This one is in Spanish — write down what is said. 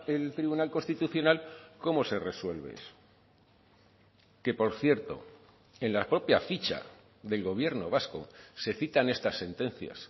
el tribunal constitucional cómo se resuelve eso que por cierto en la propia ficha del gobierno vasco se citan estas sentencias